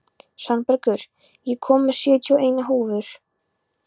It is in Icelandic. Svanbergur, ég kom með sjötíu og eina húfur!